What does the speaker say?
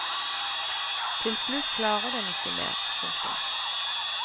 Til slutt klarer den ikke mer. punktum